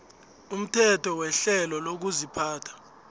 umthetho werhelo lokuziphatha